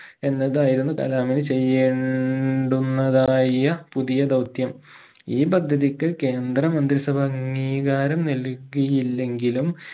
എന്നതായിരുന്നു കലാമിന് ചെയ്യേണ്ടുന്നതായ പുതിയ ദൗത്യം ഈ പദ്ധതിക്ക് കേന്ദ്ര മന്ത്രി സഭ അംഗീകാരം നൽകിയില്ലെങ്കിലും